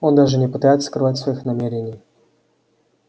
он даже и не пытается скрывать своих намерений